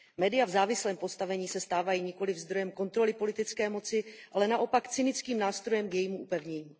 Média v závislém postavení se stávají nikoliv zdrojem kontroly politické moci, ale naopak cynickým nástrojem k jejímu upevnění.